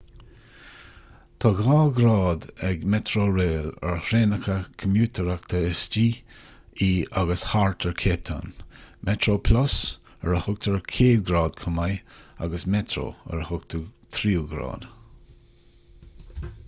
tá dhá ghrád ag metrorail ar thraenacha comaitéireachta istigh i agus thart ar cape town metroplus ar a thugtar céad ghrád chomh maith agus metro ar a thugtar tríú grád